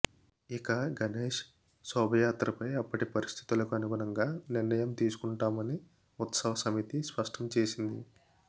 ఇక గణేశ్ శోభాయాత్రపై అప్పటి పరిస్థితులకు అనుగుణంగా నిర్ణయం తీసుకుంటామని ఉత్సవ సమితి స్పష్టం చేసింది